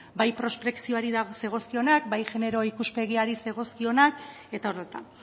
bai prospekzioari zegokionak bai genero ikuspegiari zegokionak eta horretan